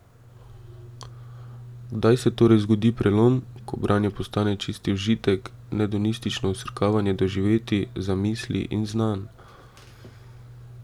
Kdaj se torej zgodi prelom, ko branje postane čisti užitek, hedonistično vsrkavanje doživetij, zamisli in znanj?